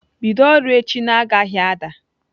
Bido ọrụ echi na-agaghị ada!